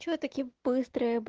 что таким быть